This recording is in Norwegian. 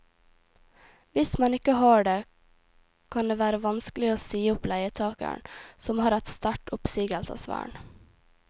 Hvis man ikke har det, kan det være vanskelig å si opp leietageren, som har et sterkt oppsigelsesvern.